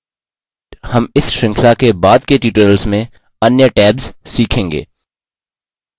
हम इस श्रृंखला के बाद के tutorials में अन्य tabs सीखेंगे